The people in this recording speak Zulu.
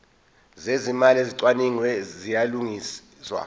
zezimali ezicwaningiwe ziyalungiswa